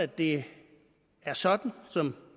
det er sådan som